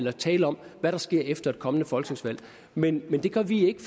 at tale om hvad der sker efter et kommende folketingsvalg men det gør vi ikke